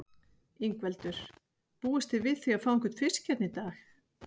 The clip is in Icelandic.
Ingveldur: Búist þið við því að fá einhvern fisk hérna í dag?